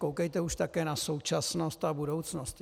Koukejte už také na současnost a budoucnost.